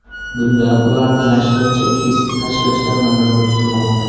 Bunda ularni yashirincha kesib tashlashlar nazarda tutilmoqda.